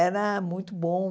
Era muito bom.